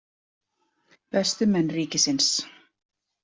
Bestu menn ríkisins.